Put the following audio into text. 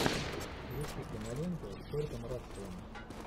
включи киноленту с куртом расселом